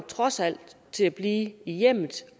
trods alt at blive i hjemmet